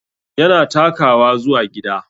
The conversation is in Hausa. Yana takawa zuwa gida